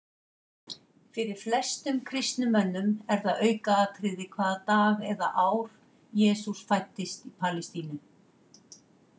Fyrir flestum kristnum mönnum er það aukaatriði hvaða dag eða ár Jesús fæddist í Palestínu.